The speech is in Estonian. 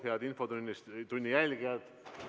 Head infotunni jälgijad!